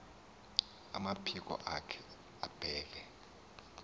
amaphiko akhe abeke